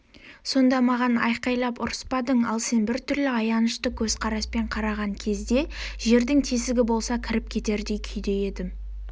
сонда маған айғайлап ұрыспадың ал сен біртүрлі аянышты көзқараспен қараған кезде жердің тесігі болса кіріп кетердей күйде едім